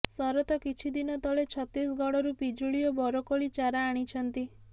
ଶରତ କିଛି ଦିନ ତଳେ ଛତିଶଗଡ଼ରୁ ପିଜୁଳି ଓ ବରକୋଳି ଚାରା ଆଣିଛନ୍ତି